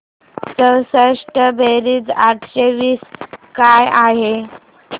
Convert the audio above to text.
चौसष्ट बेरीज आठशे वीस काय आहे